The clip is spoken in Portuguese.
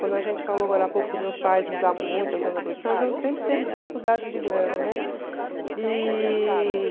Quando a gente falou agora há pouco que meus pais mudavam muito então sempre teve dificuldade de grana, né? E...